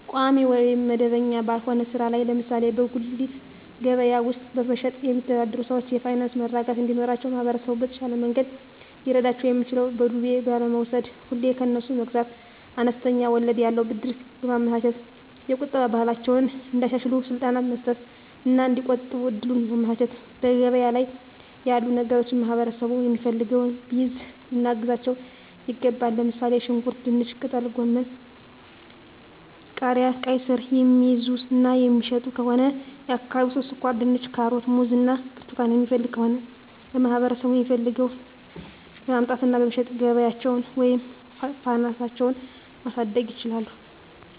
ቋሚ ወይም መደበኛ ባልሆነ ሥራ ላይ (ለምሳሌ በጉሊት ገበያ ውስጥ በመሸጥ)የሚተዳደሩ ሰዎች የፋይናንስ መረጋጋት እንዲኖራቸው ማህበረሰቡ በተሻለ መንገድ ሊረዳቸው የሚችለው በዱቤ ባለመውስድ፤ ሁሌ ከነሱ መግዛት፤ አነስተኛ ወለድ ያለው ብድር በማመቻቸት፤ የቁጠባ ባህላቸውን እንዲያሻሽሉ ስልጠና መስጠት እና እዲቆጥቡ እድሉን ማመቻቸት፤ ገበያ ላይ ያሉ ነገሮችን ማህበረሠቡ የሚፈልገውን ቢይዙ ልናግዛቸው ይገባል። ለምሣሌ፦ ሽንኩርት፤ ድንች፤ ጥቅልጎመን፤ ቃሪያ፤ ቃይስር፤ የሚይዙ እና የሚሸጡ ከሆነ የአካባቢው ሠው ስኳርድንች፤ ካሮት፤ ሙዝ እና ብርቱካን የሚፈልግ ከሆነ ለማህበረሰቡ የሚፈልገውን በማምጣት እና በመሸጥ ገቢያቸውን ወይም ፋናሳቸው ማሣደግ ይችላሉ።